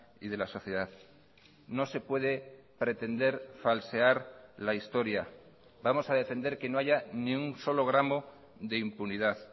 y de la sociedad no se puede pretender falsear la historia vamos a defender que no haya ni un solo gramo de impunidad